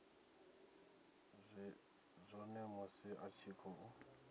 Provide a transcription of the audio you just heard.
zwone musi a tshi khou